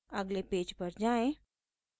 अगले पेज पर जाएँ